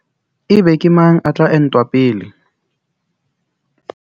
Ebe ke mang a tla entwa pele?